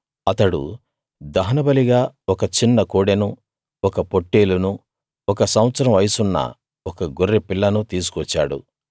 అతడు దహనబలిగా ఒక చిన్న కోడెనూ ఒక పొట్టేలునూ ఒక సంవత్సరం వయసున్న ఒక గొర్రెపిల్లనూ తీసుకు వచ్చాడు